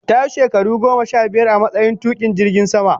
Ta yi shekaru goma sha biyar a matsayin tukin jirgin sama